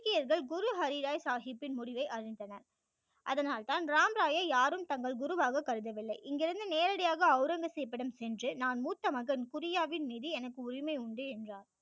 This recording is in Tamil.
சீக்கியர்கள் குரு ஹரி ராய் சாகிப்பின் முடிவை அறிந்தனர் அதனால் தான் ராம் ராய்யை யாரும் தங்கள் குரு வாக கருத வில்லை இங்கிருந்து நேரடியாக ஔரங்கசீப்பிடம் சென்று நான் மூத்த மகன் குரியாவின் மீது எனக்கு உரிமை உண்டு என்றார்